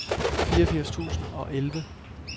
fireogfirs tusind og elleve